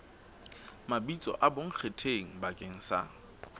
mabitso a bonkgetheng bakeng sa